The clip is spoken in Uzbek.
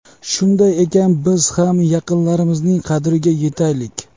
Shunday ekan, biz ham yaqinlarimizning qadriga yetaylik.